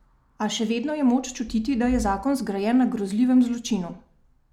A še vedno je moč čutiti, da je zakon zgrajen na grozljivem zločinu.